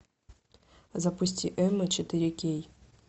запусти эмма четыре кей